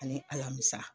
Ani alamisa